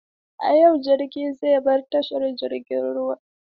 A yau jirgin zai bar tashar jiragen ruwa.